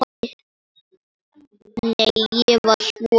Nei, ég var svo lítil.